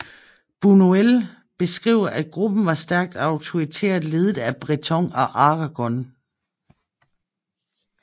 Bunuel beskriver at gruppen var stærkt autoritært ledet af Breton og Aragon